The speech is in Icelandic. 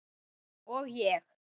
Og ég.